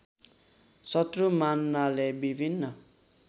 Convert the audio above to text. शत्रु मान्नाले विभिन्न